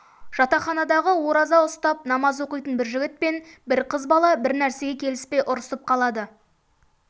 жатақханадағы ораза ұстап намаз оқитын бір жігіт пен бір қыз бала бір нәрсеге келіспей ұрысып қалады